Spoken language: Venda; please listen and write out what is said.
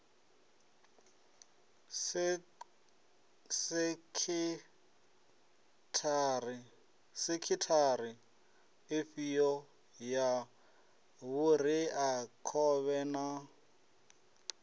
sekhithara ifhio ya vhureakhovhe na